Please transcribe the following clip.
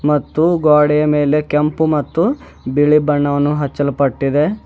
ಮತ್ತು ಗ್ವಾಡೆಯ ಮೇಲೆ ಕೆಂಪು ಮತ್ತು ಬಿಳಿ ಬಣ್ಣವನ್ನು ಹಚ್ಚಲ್ಪಟ್ಟಿದೆ.